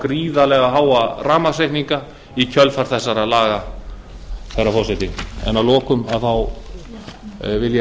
gríðarlega háa rafmagnsreikninga í kjölfar þessara laga herra forseti að lokum vil ég að